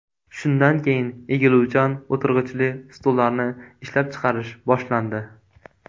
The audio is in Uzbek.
Shundan keyin egiluvchan o‘tirg‘ichli stullarni ishlab chiqarish boshlandi.